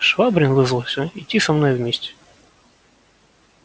швабрин вызвался идти со мною вместе